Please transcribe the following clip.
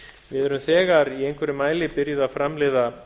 við erum þegar í einhverjum mæli byrjuð að framleiða